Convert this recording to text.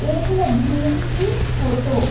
एक है भीम की फोटो ।